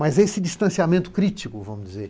Mas esse distanciamento crítico, vamos dizer,